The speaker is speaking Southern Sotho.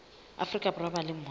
afrika borwa ba leng mose